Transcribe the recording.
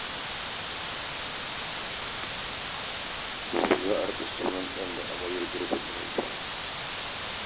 Gobe za a raɗa sunan ɗan da amaryar Garba ta haifa.